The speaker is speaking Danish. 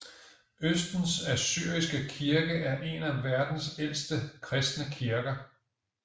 Østens Assyriske Kirke er en af verdens ældste kristne kirker